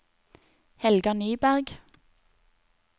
Helga Nyberg